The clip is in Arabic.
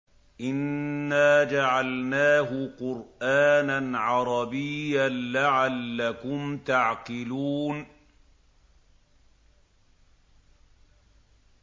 إِنَّا جَعَلْنَاهُ قُرْآنًا عَرَبِيًّا لَّعَلَّكُمْ تَعْقِلُونَ